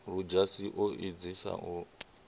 ludzhasi o edzisa u lamula